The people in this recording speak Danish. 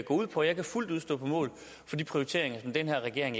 ud på jeg kan fuldt ud stå på mål for de prioriteringer som den her regering